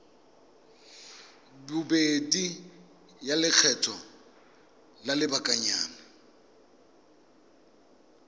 bobedi ya lekgetho la lobakanyana